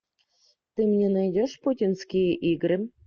ты мне найдешь путинские игры